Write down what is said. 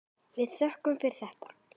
Við þökkum fyrir þetta.